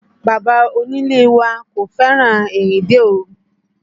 Bàbá onílé wa kò fẹ́ràn ìrìnde òru